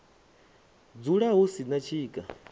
dzula hu si na tshika